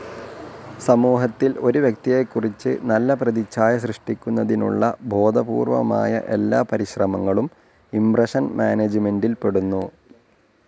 സമൂഹത്തിൽ ഒരു വ്യക്തിയെക്കുറിച്ച് നല്ല പ്രതിച്ഛായ സൃഷ്ടിക്കുന്നതിനുള്ള ബോധപൂർവ്വമായ എല്ലാ പരിശ്രമങ്ങളും ഇംപ്രഷൻ മാനേജ്മെൻ്റിൽ പെടുന്നു.